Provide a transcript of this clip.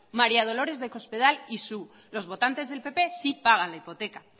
maría dolores de cospetal y su los votantes del pp sí pagan la hipoteca